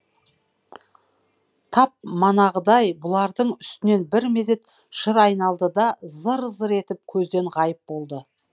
тап манағыдай бұлардың үстінен бір мезет шыр айналды да зыр зыр етіп көзден ғайып болды